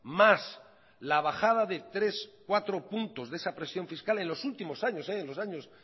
más la bajada de tres cuatro puntos de esa presión fiscal en los últimos años en los años